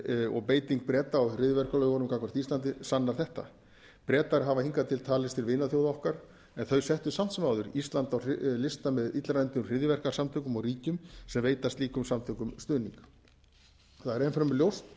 og beiting breta á hryðjuverkalögunum gagnvart íslandi sannar þetta bretar hafa hingað til talist til vinaþjóða okkar en þeir settu samt sem áður ísland á lista með illræmdum hryðjuverkasamtökum og ríkjum sem veita slíkum samtökum stuðning það er enn fremur ljóst að